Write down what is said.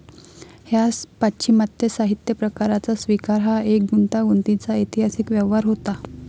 ह्या पाश्चिमात्य साहित्यप्रकाराचा स्विकार हा एक गुंतागुंतीचा ऐतिहासिक व्यवहार होता.